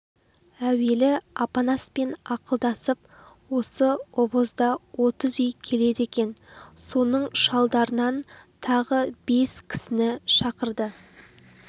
әуелі апанаспен ақылдасып осы обозда отыз үй келеді екен соның шалдарынан тағы бес кісіні шақырды